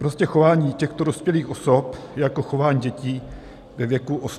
Prostě chování těchto dospělých osob je jako chování dětí ve věku osmi let.